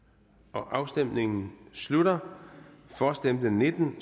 afstemningen slutter for stemte nitten